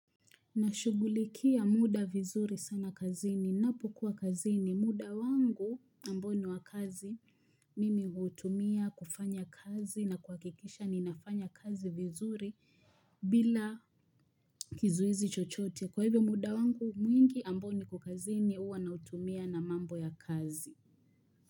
Nashughulikia muda vizuri sana kazini. Napo kuwa kazini. Muda wangu ambao ni wa kazi mimi hutumia kufanya kazi na kuhakikisha ninafanya kazi vizuri bila kizuizi chochote. Kwa hivyo muda wangu mwingi ambao niko kazini huwa nautumia na mambo ya kazi.